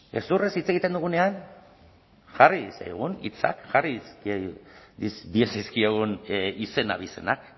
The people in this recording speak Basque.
gezurrez hitz egiten dugunean jarri zaigun hitzak jarriz diezazkiogun izen abizenak